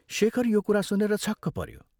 शेखर यो कुरा सुनेर छक्क पऱ्यो।